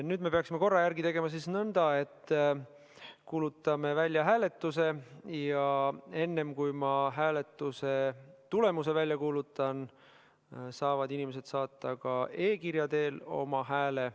Nüüd me peaksime korra järgi tegema nõnda, et kuulutame välja hääletuse ja enne, kui ma hääletuse tulemuse välja kuulutan, saavad inimesed saata ka e-kirja teel oma hääle.